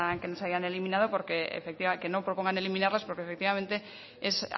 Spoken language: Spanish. hayan eliminado que no propongan eliminarlas porque efectivamente es